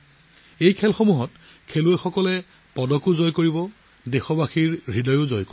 এই খেলসমূহতো পদক জয় কৰিব আৰু দেশবাসীৰ হৃদয়ো জয় কৰিব